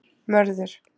Mörður